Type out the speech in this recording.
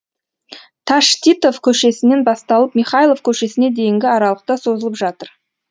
таштитов көшесінен басталып михайлов көшесіне дейінгі аралықта созылып жатыр